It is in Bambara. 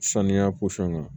Saniya kan